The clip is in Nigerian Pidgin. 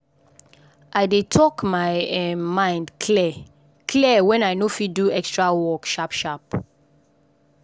i dey talk my um mind clear clear when i no fit do extra work sharp sharp.